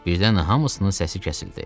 Birdən hamısının səsi kəsildi.